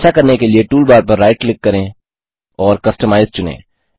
ऐसा करने के लिए टूलबार पर राइट क्लिक करें और कस्टमाइज चुनें